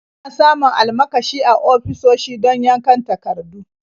Ana samun almakashi a ofisoshi don yankan takardu.